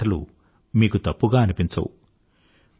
నా మాటలు మీకు తప్పుగా అనిపించవు